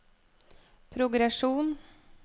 progresjon